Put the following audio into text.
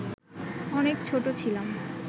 অনেক ছোট ছিলাম